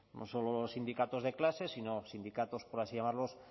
no solo los sindicatos de clase sino sindicatos por así llamarlos